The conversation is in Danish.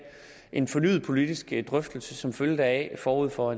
en fornyet politisk drøftelse som følge deraf forud for